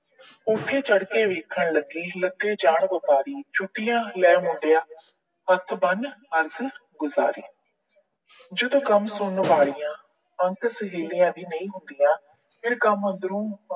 ਕੋਠੇ ਚੜ੍ਹ ਕੇ ਵੇਖਣ ਲੱਗੀ, ਲੰਘੇ ਜਾਣ ਵਪਾਰੀ। ਛੁੱਟੀਆਂ ਲੈ ਮੁੰਡਿਆ, ਹੱਥ ਬੰਨ੍ਹ ਅਰਜ ਗੁਜਾਰੀ। ਜਦੋਂ ਗਮ ਸੁਣਨ ਵਾਲਿਆਂ ਸਹੇਲੀਆਂ ਵੀ ਨਹੀਂ ਹੁੰਦੀਆਂ ਫਿਰ ਗਮ ਅੰਦਰੋਂ